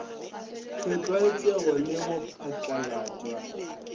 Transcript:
se tlwaetšwego le go phatlalatšwa